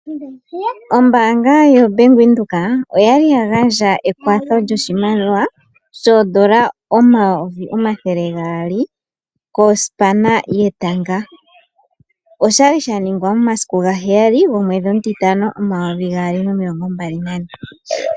Ombaanga yoBank Windhoek oya li ya gandja ekwatho lyoshimaliwa shoondola 200000 kosipana yetanga. Oshali sha ningwa momasiku gaheyali gomwedhi omutitano 2024.